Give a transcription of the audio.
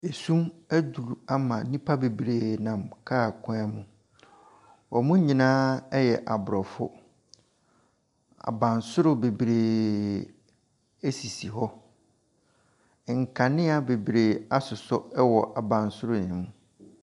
Sum aduru ama nnipa bebree nam car kwan mu. Wɔn nyinaa yɛ Aborɔfo. Abansoro bebree sisi hɔ. Nkanea asosɔ wɔ Abansoro no mu.